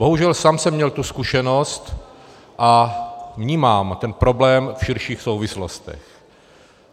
Bohužel, sám jsem měl tu zkušenost a vnímám ten problém v širších souvislostech.